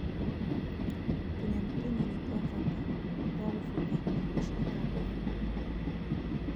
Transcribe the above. Tũnyamũ tũnini twa bata twa kũbutha na indo cia kaboni